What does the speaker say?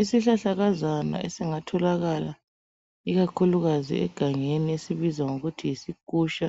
Isihlahlakazana esingatholakala ikakhulukazi egangeni esibizwa ngokuthi yisikusha,